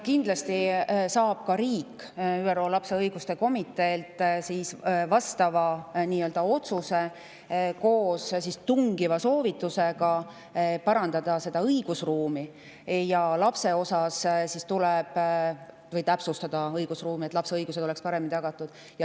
Kindlasti saab ka riik vastava otsuse ÜRO lapse õiguste komiteelt koos tungiva soovitusega parandada või täpsustada enda õigusruumi, et lapse õigused oleks paremini tagatud.